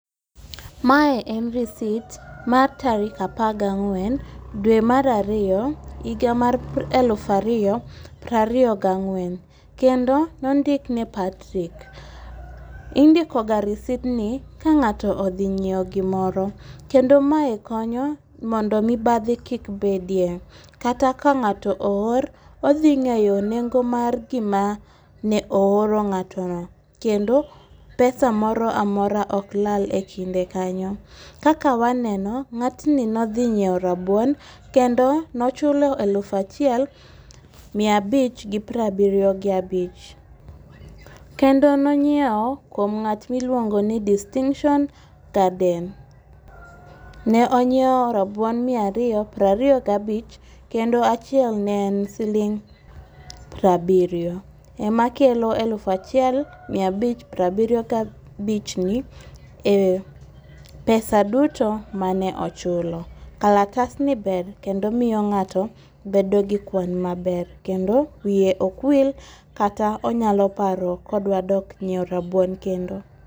Mae en receipt mar tarik apaga ng'wen, dwe mar ariyo, higa mar eluf ariyo prariyo gang'wen kendo nondik ne Patrick. Indikoga receipt ni ka ng'ato odhi nyiewo gimoro, kendo mae konyo mondo mibadhi kik bedie, kaka ka ng'ato oor, odhi ng'eyo nengo mar gima ne ooro ng'atono, kendo pesa moro amora ok lal e kinde kanyo. Kaka waneno, ng'atni ne odhi nyiewo rabuon, kendo ne ochulo eluf achiel ,miya abich gi prabirio gabich. Kendo nonyiewo kuom ng'at miluongo ni Distinction Garden. Ne onyiewo rabuon miya ariyo, prariyo gabich kendo achiel ne en siling' prabiriyo, ema kelo aluf achiel miya abich prabiriyo gabichni en pesa duto mane ochulo. Kalatasni ber kendo omiyo ng'ato bedo gi kwan maber, kendo wiye ok wil kata onyalo paro ka odwa dok nyiewo rabuon kendo.